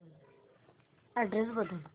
address बदल